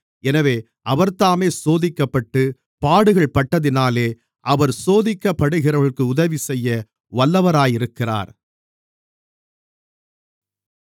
எனவே அவர்தாமே சோதிக்கப்பட்டுப் பாடுகள்பட்டதினாலே அவர் சோதிக்கப்படுகிறவர்களுக்கு உதவிசெய்ய வல்லவராக இருக்கிறார்